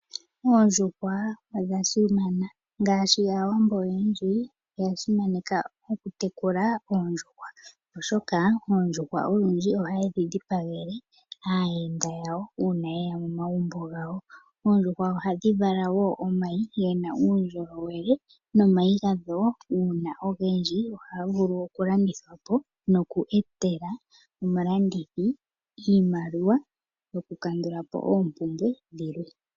Oondjuhwa osha simana ngaashi aawambo oyendji oya simaneka oku tekula oondjuhwa, oondjuhwa olundji ohaye dhi dhipagele aayenda uuna yega momagumbo gawo. Oondjuhwa ohadhi vala wo omayi gena uundjolowele uuna omayi ogendji ohaga landithwa po noku etela omulandithi iimaliwa yoku kandula po oompumbwe dhimwe.